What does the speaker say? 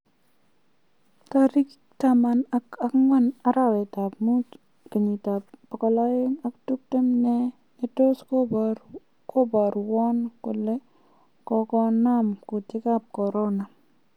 Tariki taman ak agwan arawetab muut 2020 nee netos koborwon kole kogonaam kuutik ab Corona.